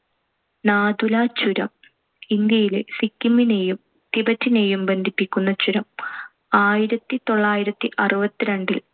നാഥുലാ ചുരം, ഇന്ത്യയിലെ സിക്കിമിനേയും ടിബറ്റിനേയുംബന്ധിപ്പിക്കുന്ന ചുരം. ആയിരത്തിതൊള്ളായിരത്തിഅറുപത്തിരണ്ടിൽ